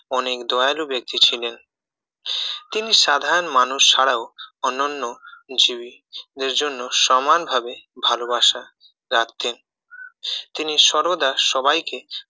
অনেক দয়ালু ব্যক্তি ছিলেন তিনি সাধারণ মানুষ ছাড়াও অন্যান্য জীবদের জন্য ভালোবাসে রাখতেন তিনি সর্বদা সবাইকে